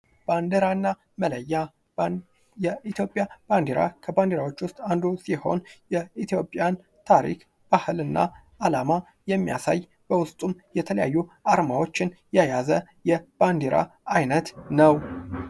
ባንዲራና መለያ። የኢትዮጵያ ባንዲራ ከባንዲራዎች ውስጥ አንዱ ሲሆን የኢትዮጵያን ታሪክ፣ ባህል እና አላማ የሚያሳይ በውስጡም የተለያዩ አርማዎችን የያዘ የባንዲራ አይነት ነው።